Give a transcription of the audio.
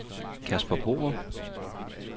Casper Borup